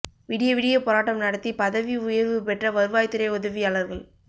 விடிய விடிய போராட்டம் நடத்தி பதவி உயா்வு பெற்ற வருவாய்த் துறை உதவியாளா்கள்